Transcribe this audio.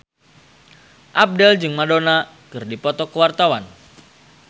Abdel jeung Madonna keur dipoto ku wartawan